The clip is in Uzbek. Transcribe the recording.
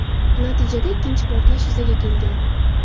Natijada ikkinchi portlash yuzaga kelgan.